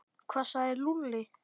Hvað sagði Lúlli?